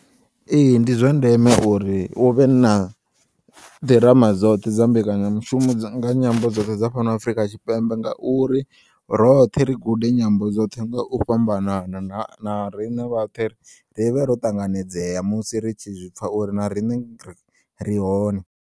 Ee, ndi zwandeme uri uvhe na ḓirama dzoṱhe dza mbekanyamishumo nga nyambo dzoṱhe dza fhano Afrika Tshipembe ngauri roṱhe ri gude nyambo dzoṱhe nga u fhambanana na na rine vhaṱhe rivhe ro ṱanganedzea musi ritshi zwipfa uri na rine rihone.